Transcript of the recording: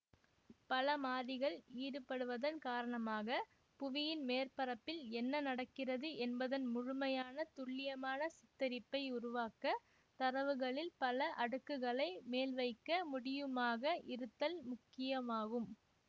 பல மாறிகள் ஈடுபடுவதன் காரணமாக புவியின் மேற்பரப்பில் என்ன நடக்கிறது என்பதன் முழுமையான துல்லியமான சித்தரிப்பை உருவாக்க தரவுகளில் பல அடுக்குகளை மேல்வைக்க முடியுமாக இருத்தல் முக்கியமாகும்